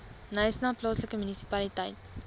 knysna plaaslike munisipaliteit